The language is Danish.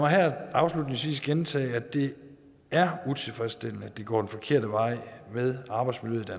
her afslutningsvis gentage at det er utilfredsstillende at det går den forkerte vej med arbejdsmiljøet